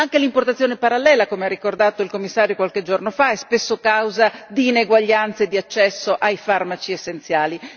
Anche l'importazione parallela, come ha ricordato il Commissario qualche giorno fa, è spesso causa di ineguaglianze di accesso ai farmaci essenziali.